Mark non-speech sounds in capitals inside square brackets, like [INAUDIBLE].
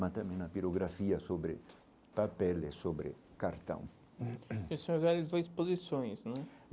mas também na pirografia sobre papeles, sobre cartão. [COUGHS] E o senhor realizou exposições né